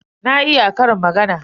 Na iya ƙarin magana.